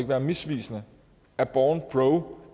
være misvisende er bornpro